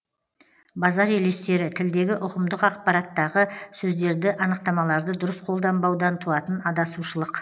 базар елестері тілдегі ұғымдық ақпараттағы сөздерді анықтамаларды дұрыс қолданбаудан туатын адасушылық